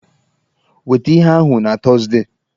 Weta ihe ahụ na Tọzdee!